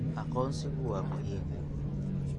Aqoonsigu waa muhiim.